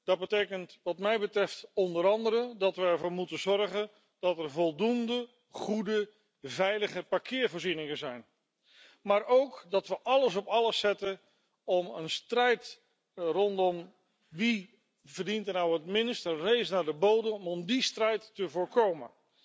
Dat betekent wat mij betreft onder andere dat we ervoor moeten zorgen dat er voldoende goede, veilige parkeervoorzieningen zijn, maar ook dat we alles op alles zetten om een strijd rondom wie er het minst verdient een race naar de bodem om die strijd te voorkomen.